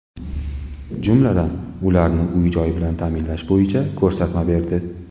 Jumladan, ularni uy-joy bilan ta’minlash bo‘yicha ko‘rsatma berdi.